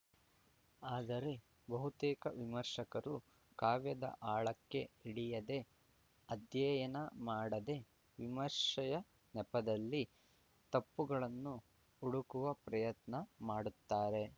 ಆದರೆ ಬಹುತೇಕ ವಿಮರ್ಶಕರು ಕಾವ್ಯದ ಆಳಕ್ಕೆ ಇಳಿಯದೆ ಅಧ್ಯಯನ ಮಾಡದೆ ವಿಮರ್ಶೆಯ ನೆಪದಲ್ಲಿ ತಪ್ಪುಗಳನ್ನು ಹುಡುಕುವ ಪ್ರಯತ್ನ ಮಾಡುತ್ತಾರೆ